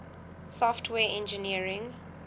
software engineering